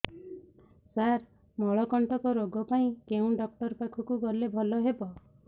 ସାର ମଳକଣ୍ଟକ ରୋଗ ପାଇଁ କେଉଁ ଡକ୍ଟର ପାଖକୁ ଗଲେ ଭଲ ହେବ